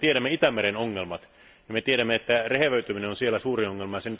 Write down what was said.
Me tiedämme Itämeren ongelmat ja me tiedämme, että rehevöityminen on siellä suuri ongelma.